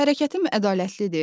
Hərəkətim ədalətlidir?